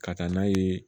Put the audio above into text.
Ka taa n'a ye